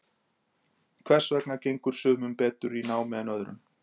hvers vegna gengur sumum betur í námi en öðrum